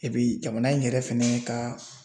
jamana in yɛrɛ fɛnɛ ka